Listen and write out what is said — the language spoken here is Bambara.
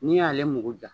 N'i y'ale mugu ja